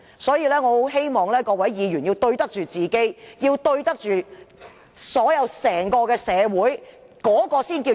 所以，我很希望各位議員要對得起自己和整個社會，那才是平衡。